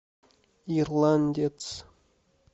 ирландец